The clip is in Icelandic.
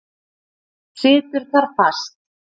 Situr þar fast.